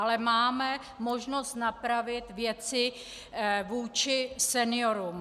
Ale máme možnost napravit věci vůči seniorům.